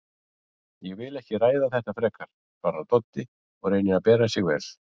Ég vil ekki ræða þetta frekar, svarar Doddi og reynir að bera sig vel.